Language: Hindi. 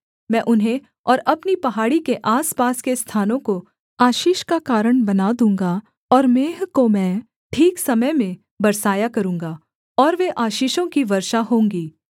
मैं उन्हें और अपनी पहाड़ी के आसपास के स्थानों को आशीष का कारण बना दूँगा और मेंह को मैं ठीक समय में बरसाया करूँगा और वे आशीषों की वर्षा होंगी